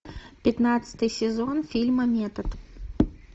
пятнадцатый сезон фильма метод